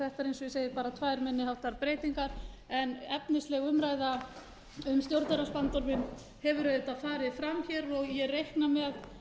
segi bara tvær minni háttar breytingar en efnisleg um ræða um stjórnarráðsbandorminn hefur auðvitað farið fram og ég reikna með